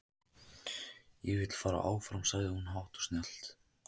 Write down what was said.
Ég vil fara áfram, sagði hún hátt og snjallt.